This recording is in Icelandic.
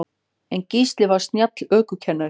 En Gísli var snjall ökumaður.